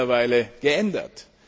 Das hat sich mittlerweile geändert.